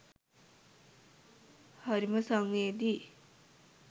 හරිම සංවේදීයි!